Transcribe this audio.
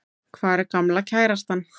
Hvar er gamla kærastan?